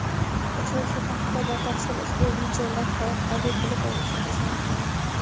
Uchrashuv haqida batafsil ushbu videolavha orqali bilib olishingiz mumkin.